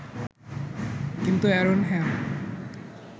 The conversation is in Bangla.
কিন্তু এ্যারন হ্যাম